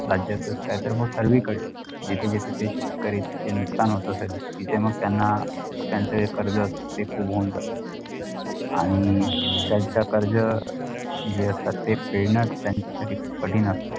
राज्यातच काय तर मग सर्वीकडे जिथे जिथे ते शेतकरी ते जे नुकसान होत तिथे मग त्याना त्याचं कर्ज असतो ते जातो आणि त्याच कर्ज जे असतात ते फेडणं त्याचासाठी ते कठीण असतात